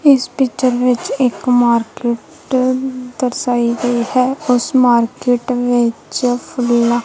ਇਸ ਪਿਕਚਰ ਵਿੱਚ ਇੱਕ ਮਾਰਕਿਟ ਦਰਸਾਈ ਗਈ ਹੈ ਉੱਸ ਮਾਰਕਿਟ ਵਿੱਚ ਫੁੱਲਾਂ--